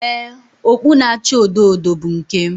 Ee, okpu na-acha odo odo bụ nke m